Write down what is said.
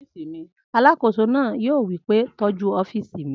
Alàkóso náà yóò wí pé tọ́jú ọ́fìsì mi!